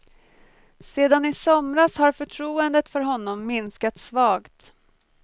Sedan i somras har förtroendet för honom minskat svagt.